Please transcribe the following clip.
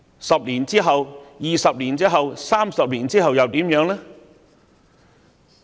10年之後 ，20 年之後 ，30 年之後又如何呢？